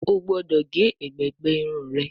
o gbódò ge ègbé gbé Irun rẹ!